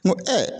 N ko